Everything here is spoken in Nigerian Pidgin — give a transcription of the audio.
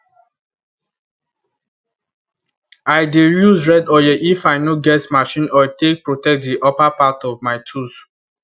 i dey use red oil if i no get machine oil take protect the upper part of my tools